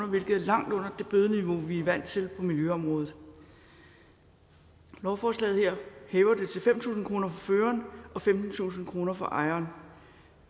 hvilket er langt under det bødeniveau vi er vant til på miljøområdet lovforslaget her hæver det til fem tusind kroner for føreren og femtentusind kroner for ejeren